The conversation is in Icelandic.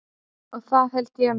Og það held ég nú.